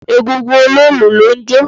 Egúngún Oloolu ló ń jó.